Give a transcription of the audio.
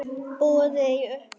Boðið er uppá súpu.